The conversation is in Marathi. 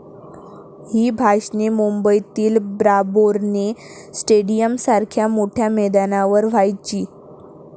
ही भाषणे मुंबईतील ब्राबौरणे स्टेडीयमसारख्या मोठ्या मैदानावर व्हायची.